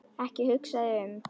Ekki hugsa þig um.